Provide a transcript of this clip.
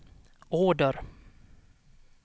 order